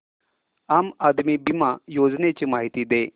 आम आदमी बिमा योजने ची माहिती दे